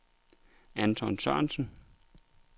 Anton Sørensen